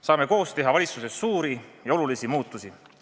Saame koos teha valitsuses suuri ja olulisi muutusi.